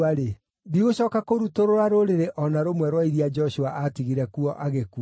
ndigũcooka kũrutũrũra rũrĩrĩ o na rũmwe rwa iria Joshua aatigire kuo agĩkua.